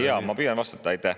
Jaa, ma püüan vastata.